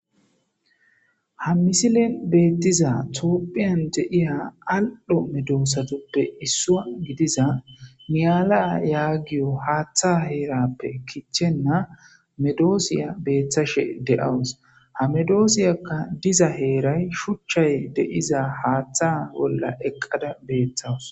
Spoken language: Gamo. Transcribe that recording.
ha misilen beettiza toophiyan deiya al7ho medoosatuppe issua gidiza miyala yaagiyo haaththa heerappe kichenna medoosiya beeththashe deawus hamedoosiyakka diza heeray shuchchay de7iza haaththa bolla eqqada beeththawus